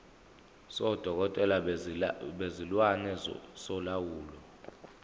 sodokotela bezilwane solawulo